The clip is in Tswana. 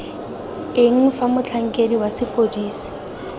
eng fa motlhankedi wa sepodisi